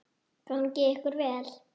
Gangi ykkur vel.